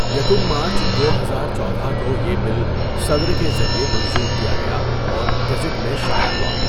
یکم مارچ دو ہزار چودہ کو یہ بل صدر کے ذریعے منظور کیا گیا اور گزٹ میں شائع ہوا.